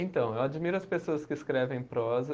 Então, eu admiro as pessoas que escrevem prosa.